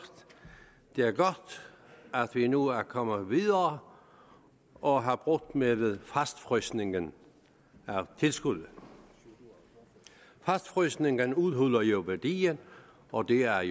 det er godt at vi nu er kommet videre og har brudt med fastfrysningen af tilskuddet fastfrysningen udhuler jo værdien og det er